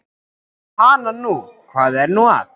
Hana nú, hvað er nú að.